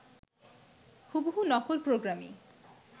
হুবহু নকল প্রোগ্রামই